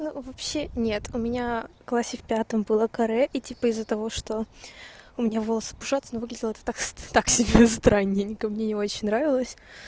ну вообще нет у меня классе в пятом было каре и типа из-за того что у меня волосы пушатся ну выглядело это так так себе страненько мне не очень нравилось